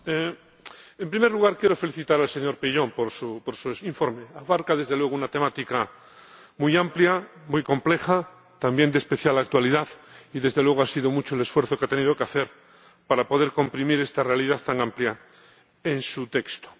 Señora Presidenta, en primer lugar, quiero felicitar al señor Peillon por su informe. Abarca, desde luego, una temática muy amplia, muy compleja, también de especial actualidad y, desde luego, ha sido mucho el esfuerzo que ha tenido que hacer para poder comprimir esta realidad tan amplia en su texto.